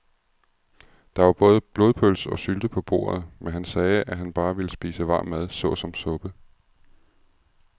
Der var både blodpølse og sylte på bordet, men han sagde, at han bare ville spise varm mad såsom suppe.